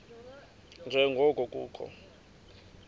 nje ngoko kukho